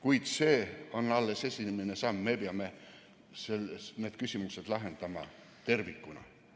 Kuid see on alles esimene samm, me peame need küsimused lahendama tervikuna.